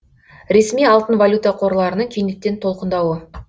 ресми алтын валюта қорларының кенеттен толқындауы